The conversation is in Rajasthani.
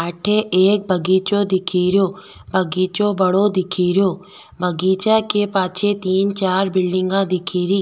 अठे एक बगीचों दिख रो बगीचों बड़ो दिख रो बगीचा के पाछे तीन चार बिलडिंग दिख री।